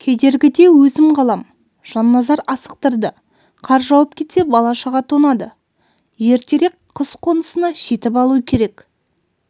кедергіде өзім қалам жанназар асықтырды қар жауып кетсе бала-шаға тоңады ертерек қыс қонысына жетіп алу керек